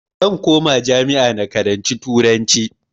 Zan koma jami'a na karanci turanci